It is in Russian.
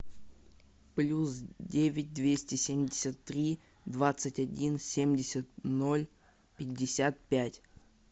плюс девять двести семьдесят три двадцать один семьдесят ноль пятьдесят пять